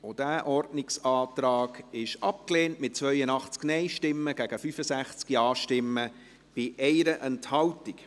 Sie haben auch diesen Ordnungsantrag abgelehnt, mit 82 Nein- gegen 65 Ja-Stimmen bei 1 Enthaltung.